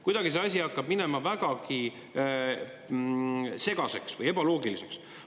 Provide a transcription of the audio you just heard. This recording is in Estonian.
Kuidagi see asi hakkab minema vägagi segaseks või ebaloogiliseks.